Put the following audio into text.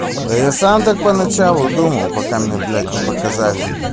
да я сам так поначалу думал пока мне блять не показали